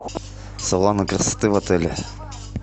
салоны красоты в отеле